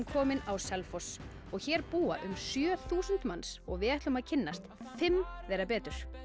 komin á Selfoss hér búa um sjö þúsund manns og við ætlum að kynnast fimm þeirra betur